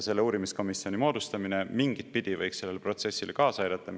Selle uurimiskomisjoni moodustamine võiks mingitpidi sellele protsessile kaasa aidata.